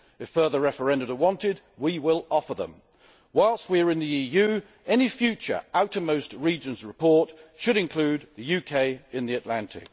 If further referenda are wanted, we will offer them. Whilst the UK is in the EU, any future outermost regions report should include the UK, in the Atlantic.